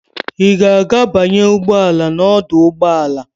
Ị ga-aga banye ụgbọ ala n'ọdụ ụgbọ ala.